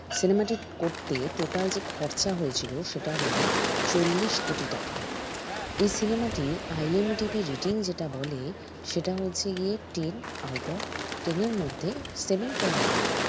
cinema টি করতে total যে খরচা হয়েছিল সেটা হল চল্লিশ কোটি টাকা এই cinema টি IMDB rating যেটা বলে সেটা হচ্ছে গিয়ে ten out of ten এর মধ্যে seven point five